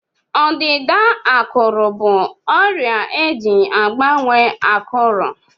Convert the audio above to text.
Ọdịda ákụ̀rụ̀ bụ ọrịa eji agbanwe ákụ̀rụ̀.